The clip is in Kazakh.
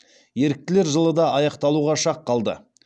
еріктілер жылы да аяқталуға шақ қалды